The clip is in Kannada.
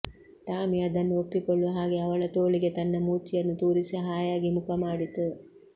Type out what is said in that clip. ಟಾಮಿ ಅದನ್ನ ಒಪ್ಪಿಕೊಳ್ಳುವ ಹಾಗೆ ಅವಳ ತೋಳಿಗೆ ತನ್ನ ಮೂತಿಯನ್ನು ತೂರಿಸಿ ಹಾಯಾಗಿ ಮುಖಮಾಡಿತು